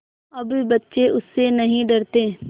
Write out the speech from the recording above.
अब बच्चे उससे नहीं डरते